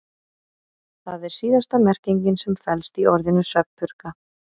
Það er síðasta merkingin sem felst í orðinu svefnpurka.